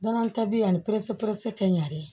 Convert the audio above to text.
Danaya ta bi ani perese perese tɛ ɲɛ dɛ